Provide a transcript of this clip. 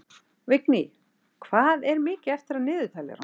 Vigný, hvað er mikið eftir af niðurteljaranum?